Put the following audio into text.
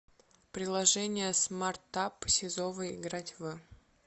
приложение смартап сизова играть в